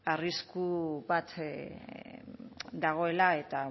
arrisku bat dagoela eta